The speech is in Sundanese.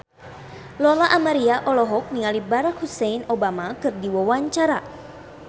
Lola Amaria olohok ningali Barack Hussein Obama keur diwawancara